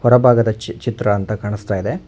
ಬಲಭಾಗದ ಚಿತ್ರ ಅಂತ ಕಾಣಿಸ್ತಾ ಇದೆ.